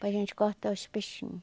Para a gente cortar os peixinho.